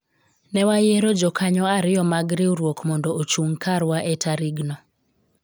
ne wayiero jokanyo ariyo mag riwruok mondo ochung' karwa e tarig no